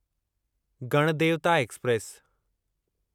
Ganadevata express